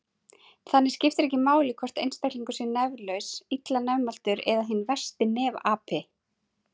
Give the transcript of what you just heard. Þannig skiptir ekki máli hvort einstaklingur sé neflaus, illa nefmæltur eða hinn versti nefapi!